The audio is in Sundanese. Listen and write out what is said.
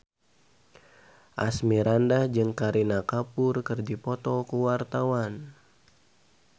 Asmirandah jeung Kareena Kapoor keur dipoto ku wartawan